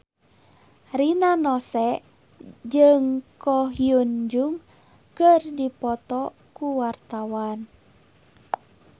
Rina Nose jeung Ko Hyun Jung keur dipoto ku wartawan